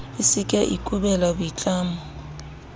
a seke a ikobela boitlamo